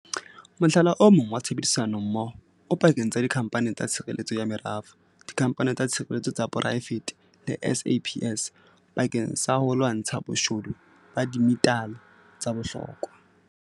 Mohlala o mong wa tshebedisanommoho o pakeng tsa dikhamphani tsa tshireletso ya merafo, dikhamphani tsa tshireletso tsa poraefete le SAPS bakeng sa ho lwantsha boshodu ba dimetale tsa bohlokwa.